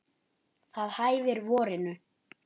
Það hæfir vorinu.